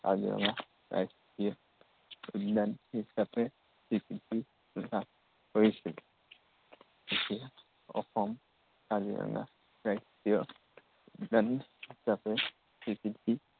কাজিৰঙা ৰাষ্ট্ৰীয় উদ্য়ান হিচাপে স্বীকৃতি লাভ কৰিছিল। কেতিয়া অসম কাজিৰঙা ৰাষ্ট্ৰীয় উদ্য়ান হিচাপে স্বীকৃতি